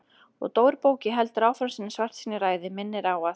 Og Dóri bóki heldur áfram sinni svartsýnu ræðu, minnir á að